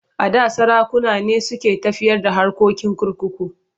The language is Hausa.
A da sarakuna ne suke tafiyar da harkokin kurkuku.